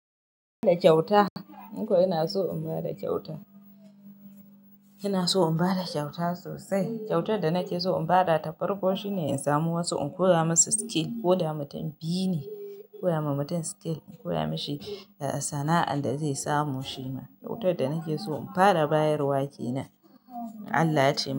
Da kyauta. Ni kuwa ina so in ba da kyauta. Ina so in ba da kyauta sosai. Kyautar da nake so in ba da ta farko shine in samu wasu in koya musu skill. Ko da mutum biyu ne, koya wa mutum skill, in koya mashi sana'ar da zai samu shi ma. Kyautar da nake so in fara bayarwa kenan, Allah ya ce.